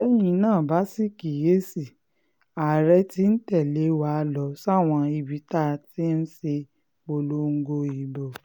tẹ́yin náà bá sì kíyè sí i àárẹ̀ tí ń tẹ̀lé wa lọ sáwọn ibi tá a ti ṣèpolongo ìbò